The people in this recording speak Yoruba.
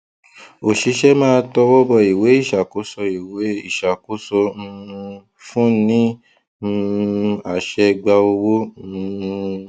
òṣìṣẹ máa tọwọ bọ ìwé ìṣàkóso ìwé ìṣàkóso um fún ní um àṣẹ gba owó um